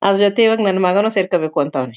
ಅದರ ಜತೆಗೆ ಇವಾಗ ನನ್ನ ಮಗನು ಸೇರ್ಕೊ ಬೇಕು ಅಂತವ್ನೆ.